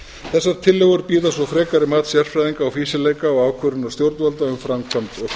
þessar tillögur bíða svo frekari mats sérfræðinga og ákvörðunar stjórnvalda um framkvæmd